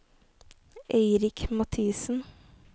Eirik Mathiesen